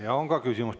Ja on ka küsimus.